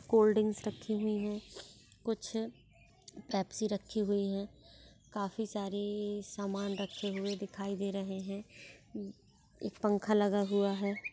Cold drinks रखी हुई है कुछ पेप्सी रखी हुई है काफी सारी सामान रखे हुए दिखाई दे रहे है एक पंखा लगा हुवा हैं।